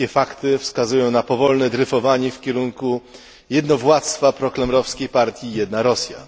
Wszystkie fakty wskazują na powolne dryfowanie w kierunku jednowładztwa prokremlowskiej partii Jedna Rosja.